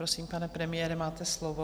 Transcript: Prosím, pane premiére, máte slovo.